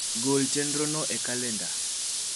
gol chenrono e kalenda